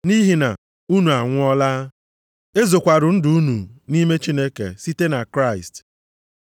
Nʼihi na unu anwụọla. E zokwara ndụ unu nʼime Chineke site na Kraịst.